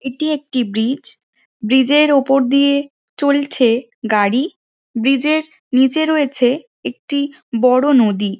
এটি একটি ব্রিজ ব্রিজের ওপর দিয়ে চলছে গাড়ি ব্রিজের নিচে রয়েছে একটি বড় নদী।